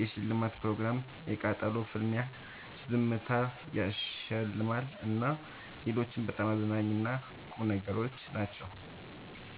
የሽልማት ፕሮግራም የቃጠሎ ፍልሚያ ዝምታ ያሸልማል እና ሌሎችም በጣም አዝናኝ እና ቁም ነገሮች ናቸው።